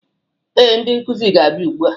Ee, ndị nkuzi ga-abia ụgbụa